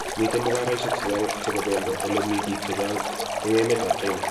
Mite mugaroishek chechang chebo bendo ole mi bik chechang eng emet ap china